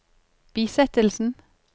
bisettelsen